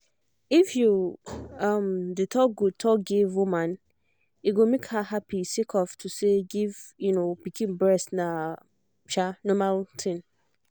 if you um dey talk good talk give woman e go make her happy sake of say to give um pikin breast na um normal tin